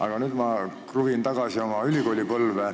Aga nüüd ma kruvin tagasi oma ülikoolipõlve.